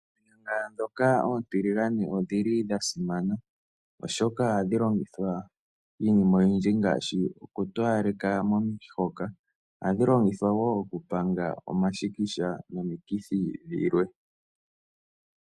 Oonyanga dhoka oontiligane odhili dha simana oshoka ohadhi longithwa iinima oyindji ngaashi ohadhi towaleka momihoka ohadhi longithwa wo okupanga omashikisha nomikithi dhilwe.